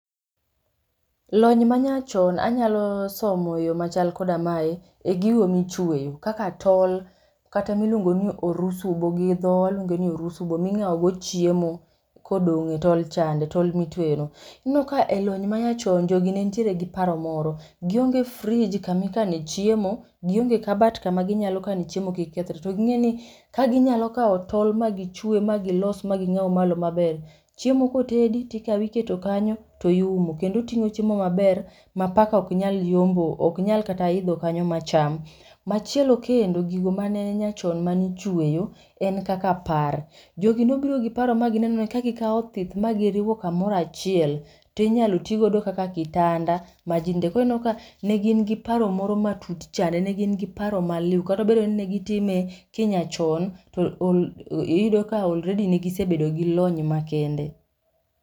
Lony manyachon anyalo somo e yo machal koda mae, e gigo michweyo. Kaka tol, kata miluongo ni orusubo, gidhowa waluonge ni orusubo ming'awo go chiemo kodong' e tol chande, tol mitweyo no. Ineno ka e lony manyachon jogi ne ntiere gi paro moro. Gionge frij kamikane chiemo, gionge kabat kama ginyalo kane chiemo kik kethre. To ging'e ni kaginyalo kawo tol ma gichwe ma ging'aw malo maber, chiemo kotedi tikawo iketo kanyo to iumo. Kendo ting'o chiemo maber ma paka ok nyal yombo, ok nyal kata idho kanyo ma cham. Machielo kendo, gigo mane nyachon manichweyo en kaka par. Jogi ne obiro gi paro ma gineno ni ka gikawo othith ma giriwo kamorachiel, tinyalo tigo kaka kitanda ma ji ninde. Korineno ka ne gin gi paro moro ma tut chande, ne gin gi paro ma liw. Katobedo ni ne gitime kinyachon, to ol iyudo ka already negisebet gi lony makende.